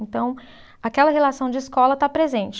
Então, aquela relação de escola está presente.